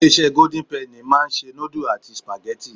Ilé-isé golden penny máa ń se nudulu àti supageti.